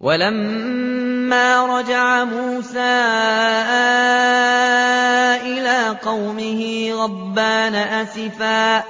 وَلَمَّا رَجَعَ مُوسَىٰ إِلَىٰ قَوْمِهِ غَضْبَانَ أَسِفًا